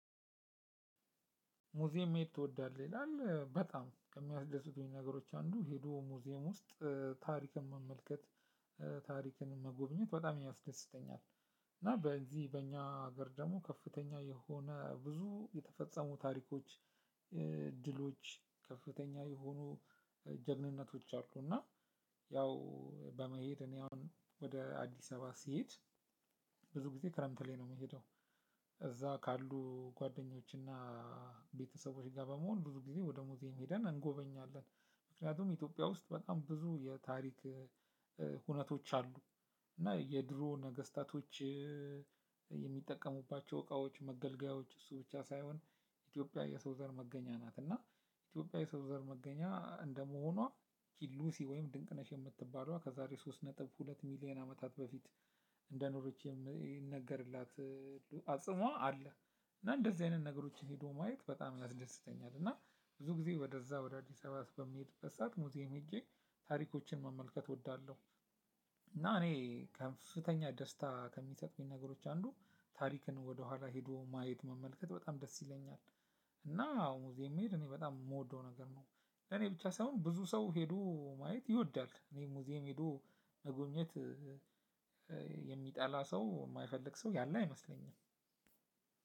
ሙዜም መሄድ ትወዳለህ ይላል በጣም ከሚያስደስቱኝ ነገሮች አንዱ ሄዶ ሙዚየም ውስጥ ታሪክን መመልከት ታሪክን መጎብኘት በጣም ያስደስተኛል። እና በዚህ በእኛ ሀገር ደግሞ ከፍተኛ የሆነ ብዙ የተፈጸሙ ታሪኮች። እድሎች ከፍተኛ የሆኑ ጀግንነቶች አሉ። እና ያው በመሄድ እኔ አሁን ወደ አዲስ አበባ ሲሄድ። ብዙ ጊዜ ክረምት ላይ ነው የምሄደው። እዛ ካሉ ጓደኞች እና ቤተሰቦች ጋር በመሆን ብዙ ጊዜ ወደ ሙዜም ሄደን እንጎበኛለን። ምክንያቱም ኢትዮጵያ ውስጥ በጣም ብዙ የታሪክ ሁነቶች አሉ። እና የድሮ ነገስታቶች የሚጠቀሙባቸው እቃዎች መገልገያዎች እሱ ብቻ ሳይሆን። ኢትዮጵያ የሰው ዘር መገኛ ናት። እና ኢትዮጵያ የሰው ዘር መገኛ እንደመሆኗ ኪሉሲ ወይም ድንቅነሽ የምትባሏ ከዛሬ ሶስት ነጥብ ሁለት ሚሊየን አመታት በፊት እንደኖረች ይነገርላት። አጽሟ አለ። እና እንደዚህ አይነት ነገሮችን ሄዶ ማየት በጣም ያስደስተኛል። እና ብዙ ጊዜ ወደዛ ወደ አዲስ አበባ በምሄድበት ሰዕት ሙዚየም ሄጄ ታሪኮችን መመልከት እወዳለሁ። እና እኔ ከፍተኛ ደስታ ከሚሰጠኝ ነገሮች አንዱ ታሪክን ወደኋላ ሄዶ ማየት መመልከት በጣም ደስ ይለኛል። እና አዎ ሙዜም መሄድ እኔ በጣም የምወደው ነገር ነው። እኔ ብቻ ሳይሆን ብዙ ሰው ሄዶ ማየት ይወዳል እኔ ሙዚየም ሄዶ መጎብኘት። የሚጠላ ሰው የማይፈልግ ሰው ያለ አይመስለኝም።